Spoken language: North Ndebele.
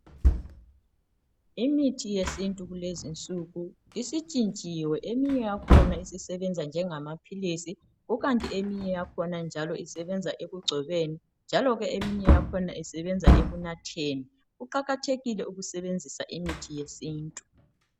Imithi yesintu kulezinsuku isitshintshiwe eminye yakhona isisebenza njengamaphilisi kukanti eminye yakhona njalo isebenza ekugcobeni njalo ke eminye yakhona isebenza ekunatheni, kuqakathekile ukusebenzisa imithi yesintu.